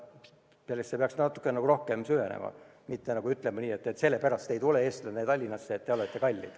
Sellesse peaks natukene rohkem süvenema, mitte ütlema nii, et sellepärast eestlane ei tule Tallinnasse, et seal on kõik kallis.